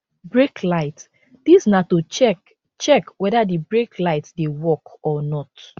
brake light dis na to check check weda di brake light dey work or not